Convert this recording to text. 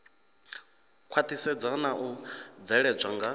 khwaṱhisedzwa na u bveledzwa nga